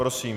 Prosím.